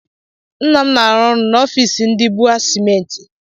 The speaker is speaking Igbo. Ńnà m na -aru n'ofici ndị bua cementi.